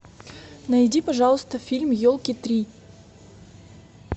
найди пожалуйста фильм елки три